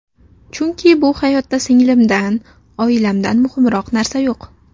Chunki bu hayotda singlimdan, oilamdan muhimroq narsa yo‘q.